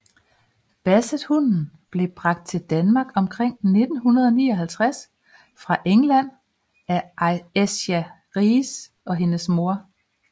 Bassethunden blev bragt til Danmark omkring 1959 fra England af Esja Ries og hendes mor